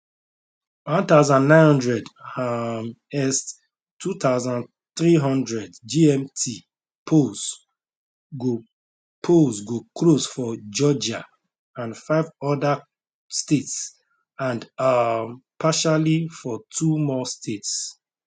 1900 um est 2300 gmt polls go polls go close for georgia and five oda states and um partially for two more states